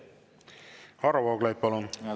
Varro Vooglaid, palun!